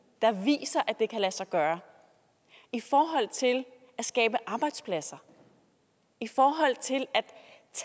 der viser at det kan lade sig gøre i forhold til at skabe arbejdspladser i forhold til